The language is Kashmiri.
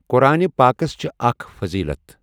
قۄٗرانہِ پاکَس چھِ اکَھ فٔضیٖلت۔